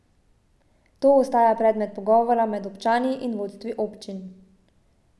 To ostaja predmet pogovora med občani in vodstvi občin.